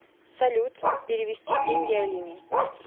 салют перевести деньги алине